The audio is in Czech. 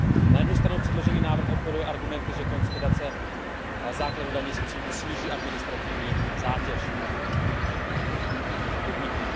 Na jednu stranu předložený návrh operuje argumenty, že konsolidace základu daně z příjmu sníží administrativní zátěž podniků.